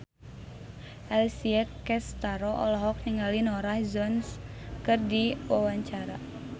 Alessia Cestaro olohok ningali Norah Jones keur diwawancara